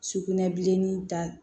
Sugunɛbilenni da